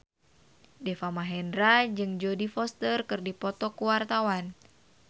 Deva Mahendra jeung Jodie Foster keur dipoto ku wartawan